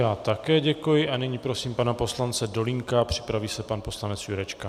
Já také děkuji a nyní prosím pana poslance Dolínka, připraví se pan poslanec Jurečka.